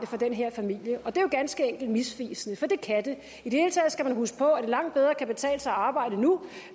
for den her familie og det er jo ganske enkelt misvisende for det kan det i det hele taget skal man huske på at det langt bedre kan betale sig at arbejde nu